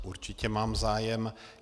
Určitě mám zájem.